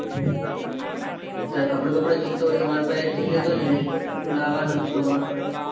કપડાં બાપડા જોવતો હોય તો માર પાસે થી લેતો જજો. અમે હું લેવાનો જ છું. હમણાં ફરી